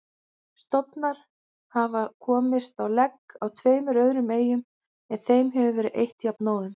Stofnar hafa komist á legg á tveimur öðrum eyjum en þeim hefur verið eytt jafnóðum.